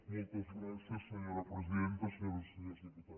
moltes gràcies senyora presidenta senyores i senyors diputats